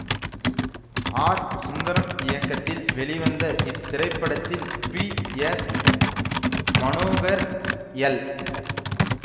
R Sundaram இயக்கத்தில் வெளிவந்த இத்திரைப்படத்தில் பி எஸ் மனோகர் எல்